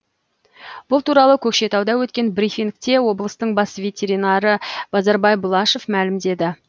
бұл туралы көкшетауда өткен брифингте облыстың бас ветеринары базарбай бұлашев мәлімдеді